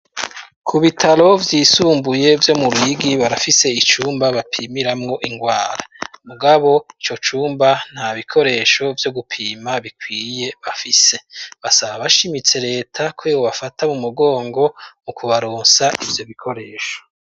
Ku bitaro vyisumbuye vyo mu Ruyigi barafise icumba bapimiramwo ingwara, mugabo ico cumba nta bikoresho vyo gupima bikwiye bafise. Basaba bashimitse leta ko yobafata mu mugongo, mu kubaronsa ivyo bikoresho.